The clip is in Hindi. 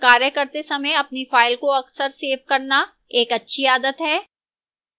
कार्य करते समय अपनी फ़ाइल को अक्सर सेव करना एक अच्छी आदत है